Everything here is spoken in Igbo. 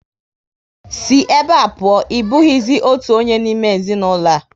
Sí ebe a pụọ! Ị bụghịzi otu onye n'ime ezinaụlọ a